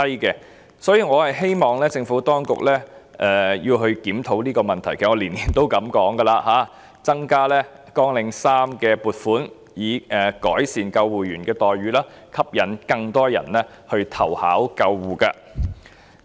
因此，我希望政府當局檢討這個問題，其實我每年都這樣建議，要求增加綱領3的撥款，以改善救護人員的待遇，吸引更多人投考救護職位。